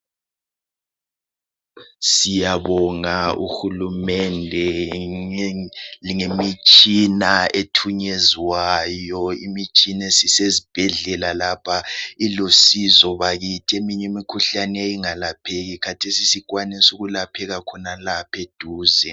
Siyabonga uhulumende ngemitshina ethunyezwayo. Imitshina esisezibhedlela lapha ilusizo bakithi. Eminye imikhuhlane eyayingalapheki khathesi isikwanisa ukulapheka khonalapha eduze.